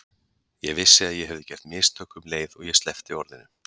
Ég vissi að ég hefði gert mistök um leið og ég sleppti orðinu.